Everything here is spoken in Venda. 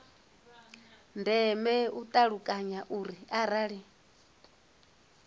ndeme u ṱalukanya uri arali